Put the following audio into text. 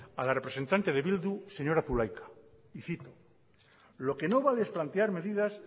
a la representante de bildu señora zulaika y cito lo que no vale es plantear medidas